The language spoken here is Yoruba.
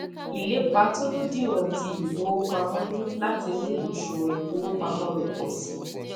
ilepa tolodiwọn ti ifowopamọ ni lati mu oṣuwọn ifowopamọ re pọ si